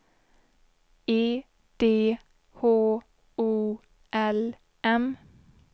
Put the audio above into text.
E D H O L M